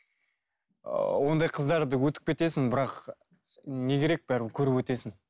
ыыы ондай қыздарды өтіп кетесің бірақ не керек бәрібір көріп өтесің